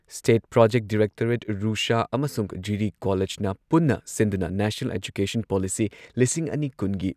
state project directorate RUSA ꯑꯃꯁꯨꯡ ꯖꯤꯔꯤ ꯀꯣꯂꯦꯖꯅ ꯄꯨꯟꯅ ꯁꯤꯟꯗꯨꯅ ꯅꯦꯁꯅꯦꯜ ꯑꯦꯖꯨꯀꯦꯁꯟ ꯄꯣꯂꯤꯁꯤ ꯂꯤꯁꯤꯡ ꯑꯅꯤ ꯀꯨꯟꯒꯤ